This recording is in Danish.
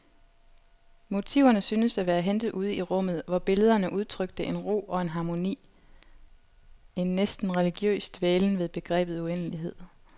Motiverne syntes at være hentet ude i rummet, hvor billederne udtrykte en ro og en harmoni, en næsten religiøs dvælen ved begrebet uendelighed.